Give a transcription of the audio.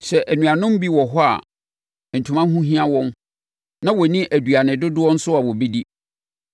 Sɛ anuanom bi wɔ hɔ a ntoma ho hia wɔn na wɔnni aduane dodoɔ nso a wɔbɛdi,